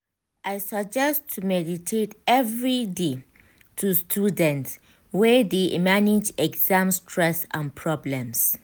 i suggest to meditate every dey to students wey de manage exam stress and problems.